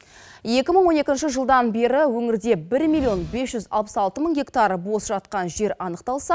екі мың он екінші жылдан бері өңірде бір миллион бес жүз алпыс алты мың гектар бос жатқан жер анықталса